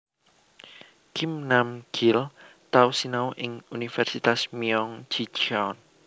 Kim Nam Gil tau sinau ing Universitas Myeong Ji Cheon